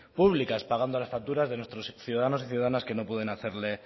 públicas pagando las facturas de nuestros ciudadanos y ciudadanas que no pueden hacerle